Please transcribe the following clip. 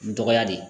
Dɔgɔya de